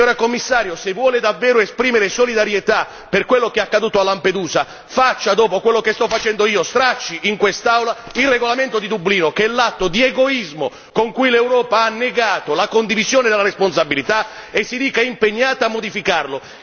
Signora Commissario, se vuole davvero esprimere solidarietà per quello che è accaduto a Lampedusa, faccia dopo quello sto facendo io, stracci in quest'Aula il regolamento di Dublino, che è l'atto di egoismo con cui l'Europa ha negato la condivisione della responsabilità, e si dica impegnata a modificarlo.